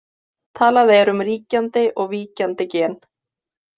Talað er um ríkjandi og víkjandi gen.